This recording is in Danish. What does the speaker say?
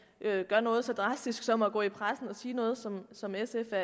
gør noget så drastisk som at gå i pressen og sige noget som som sf er